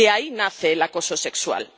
De ahí nace el acoso sexual.